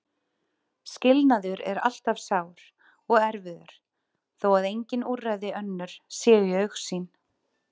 Skilnaður er alltaf sár og erfiður þó að engin úrræði önnur séu í augsýn.